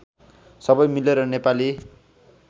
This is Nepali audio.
सबै मिलेर नेपाली